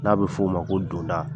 N'a bɛ f'o ma ko donda.